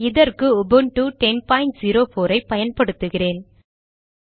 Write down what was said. இதற்கு உபுன்டு 1010 பயன்படுத்துகிறேன்